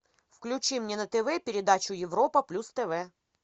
включи мне на тв передачу европа плюс тв